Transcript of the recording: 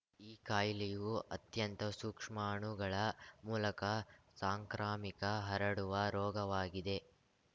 ಈ ಕಾಯಿಲೆಯೂ ಅತ್ಯಂತ ಸೂಕ್ಷ್ಮಣುಗಳ ಮೂಲಕ ಸಾಂಕ್ರಾಮಿಕ ಹರಡುವ ರೋಗವಾಗಿದೆ